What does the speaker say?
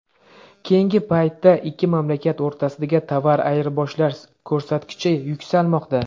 Keyingi paytda ikki mamlakat o‘rtasidagi tovar ayirboshlash ko‘rsatkichi yuksalmoqda.